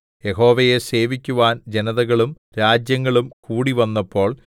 യഹോവയെ സേവിക്കുവാൻ ജനതകളും രാജ്യങ്ങളും കൂടിവന്നപ്പോൾ